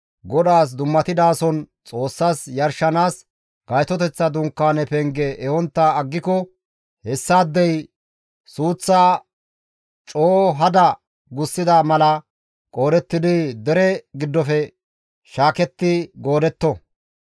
GODAAS dummatidason Xoossas yarshanaas Gaytoteththa Dunkaane penge ehontta aggiko hessaadey suuththaa coo hada gussida mala qoodettidi dere giddofe shaaketti goodetto.